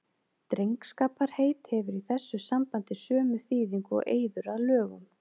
Drengskaparheit hefur í þessu sambandi sömu þýðingu og eiður að lögum.